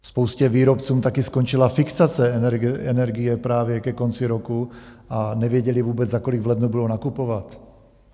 Spoustě výrobců taky skončila fixace energie právě ke konci roku a nevěděli vůbec, za kolik v lednu budou nakupovat.